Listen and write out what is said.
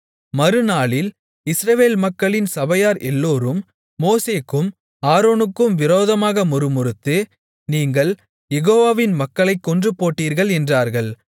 மறுநாளில் இஸ்ரவேல் மக்களின் சபையார் எல்லோரும் மோசேக்கும் ஆரோனுக்கும் விரோதமாக முறுமுறுத்து நீங்கள் யெகோவாவின் மக்களைக் கொன்று போட்டீர்கள் என்றார்கள்